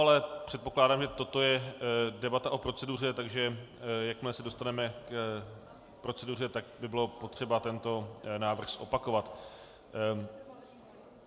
Ale předpokládám, že toto je debata o proceduře, takže jakmile se dostaneme k proceduře, tak by bylo potřeba tento návrh zopakovat.